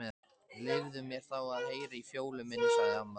Leyfðu mér þá að heyra í Fjólu minni sagði amma.